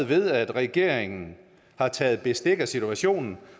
ved at regeringen har taget bestik af situationen